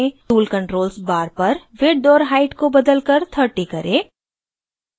tool controls bar पर width और height को बदलकर 30 करें